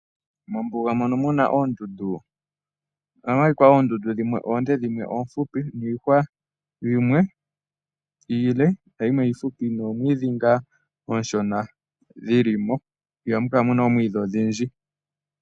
Mombuga mono mu na oondundu ohamu adhika oondundu dhimwe oonde dhimwe oohupi, niihwa yimwe iile yimwe iihupi, noomwiidhi ngaa oonshona dhi li mo, ihamu kala mu na oomwiidhi odhindji.